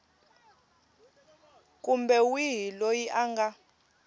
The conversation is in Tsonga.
kumbe wihi loyi a nga